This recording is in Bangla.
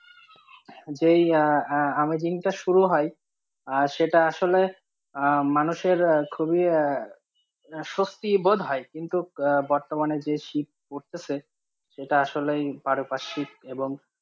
যেই আঃ আঃ আমি দিনটা শুরু হয় আর সেটা আসলে মানুষের খুবই আঃ স্বস্তি বোধ হয় কিন্তু বর্তমানে যে শীত পড়তে সে, সেটা আসলেই পারপার্শিক এবং,